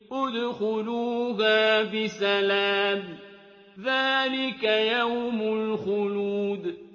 ادْخُلُوهَا بِسَلَامٍ ۖ ذَٰلِكَ يَوْمُ الْخُلُودِ